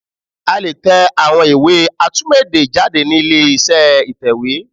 A lè tẹ àwọn iwé atúmọ̀ èdè jáde ni ilé iṣẹ́ ìtẹ̀wé